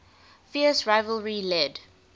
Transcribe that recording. fierce rivalry led